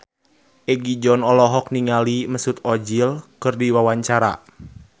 Egi John olohok ningali Mesut Ozil keur diwawancara